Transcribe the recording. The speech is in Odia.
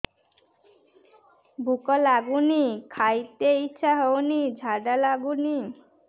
ଭୁକ ଲାଗୁନି ଖାଇତେ ଇଛା ହଉନି ଝାଡ଼ା ଲାଗୁନି